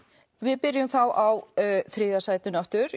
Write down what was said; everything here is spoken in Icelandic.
við byrjum þá á þriðja sætinu aftur